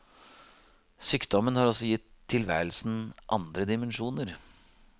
Sykdommen har også gitt tilværelsen andre dimensjoner.